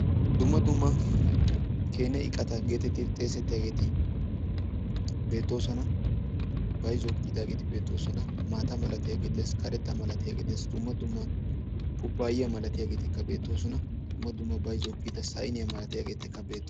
dumma dumma keene iqqata getettidi xessetiyaageeti beettoosona. bayzzuwaw kiyyidaageeti beettoosona, boota malaiyaagee dees, karetta malatiyaagee dees, dumma dumma kubbayiya beettosona, dumma dumma bayzzuwaw kiyyida saynniyaa malatiyaageetikka beettoo...